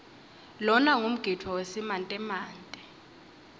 lona ngumgidvo wesimantemante